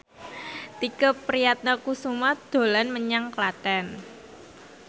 Tike Priatnakusuma dolan menyang Klaten